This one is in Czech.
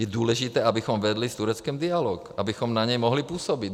Je důležité, abychom vedli s Tureckem dialog, abychom na ně mohli působit.